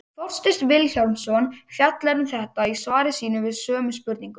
Þorsteinn Vilhjálmsson fjallar um þetta í svari sínu við sömu spurningu.